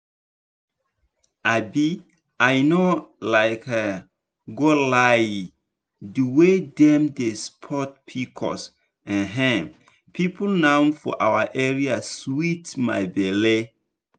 um i no um go lie di way dem dey support pcos um people now for our area sweet my belle.